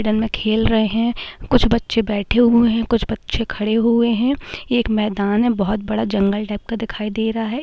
मैदान में खेल रहे है। कुछ बचे बैठे हुए है कुछ बच्चे खड़े हुए है ये एक मैदान हे बोहोत बड़ा जंगल टाइप का दिखाइ दे रहा है।